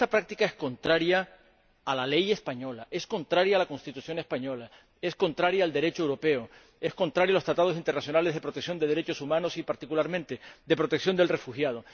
Y esta práctica es contraria a la ley española, es contraria a la Constitución española, es contraria al Derecho europeo, es contraria a los Tratados internacionales de protección de derechos humanos y, particularmente, de protección del refugiado.